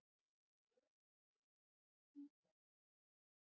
Og reykir sígarettur!